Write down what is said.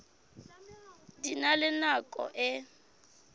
di na le nako e